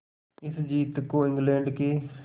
इस जीत को इंग्लैंड के